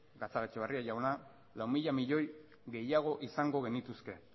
gatzagaetxebarria jauna lau mila milioi gehiago izango genituzke